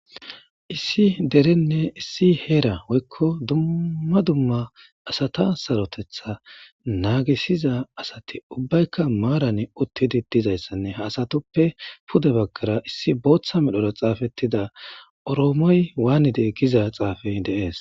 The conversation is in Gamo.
Issi derenne issi heera woykko dumma dumma asata sarotetha naagissiza asati maaran uttidi dizayssanne ha asatuppe pude baggara oroomoy waanide giza xuufey de7ees.